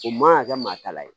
O man kan ka kɛ maa ta la ye